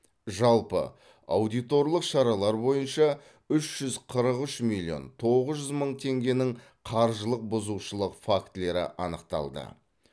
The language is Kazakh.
жалпы аудиторлық шаралар бойынша үш жүз қырық үш миллион тоғыз жүз мың теңгенің қаржылық бұзушылық фактілері анықталды